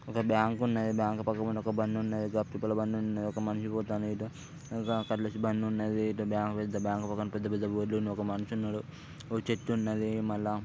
ఒక బ్యాంక్ ఉ ఉన్నది. బ్యాంక్ పక్కన ఒక బండి ఉన్నది. ఒక బ్లాక్ కలర్ బండి ఉన్నది. ఒక మనిషి పోతండు ఇటు ఇంకా బండి ఉన్నది. ఇటు బ్యాంక్ పెద్ద బ్యాంక్ పెద్ద పెద్ద బోర్డ్ లు ఉన్నయి. ఒక మనిషి ఉన్నడు. ఒక చెట్టు ఉన్నది. మళ్ళా --